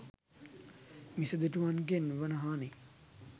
මිසදිටුවන්ගෙන් වන හානි